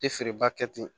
Tɛ feereba kɛ ten